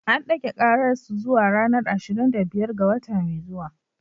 An dage karar su zuwa ranar ashirin da biyar ga wata mai zuwa.